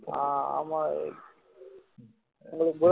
ஆஹ் ஆமா விவேக் உங்களுக்கு